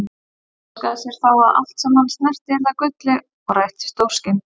Hann óskaði sér þá að allt sem hann snerti yrði að gulli og rættist óskin.